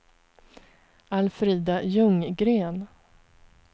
Alfrida Ljunggren